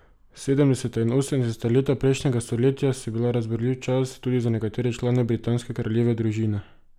Sedemdeseta in osemdeseta leta prejšnjega stoletja so bila razburljiv čas, tudi za nekatere člane britanske kraljeve družine.